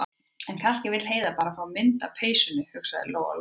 En kannski vill Heiða bara fá mynd af peysunum, hugsaði Lóa- Lóa.